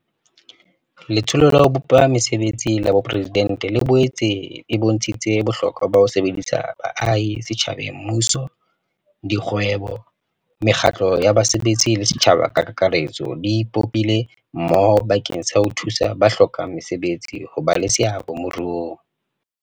Letsholo la ho Bopa Mese betsi la Boporesidente le boetse e bontshitse bohlokwa ba ho sebedisana ha baahi setjhabeng Mmuso, dikgwebo, mekgatlo ya basebetsi le setjhaba ka kakaretso di ipopile mmoho bakeng sa ho thusa ba hlokang mesebetsi ho ba le seabo moruong.